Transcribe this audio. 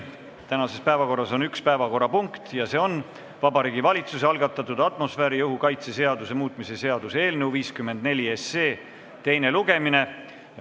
Täna on üks päevakorrapunkt, see on Vabariigi Valitsuse algatatud atmosfääriõhu kaitse seaduse muutmise seaduse eelnõu 54 teine lugemine.